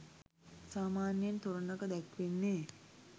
සාමාන්‍යයෙන් තොරණක දැක්වෙන්නේ